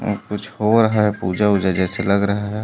और कुछ हो रहा है पूजा ऊजा जैसा लग रहा है।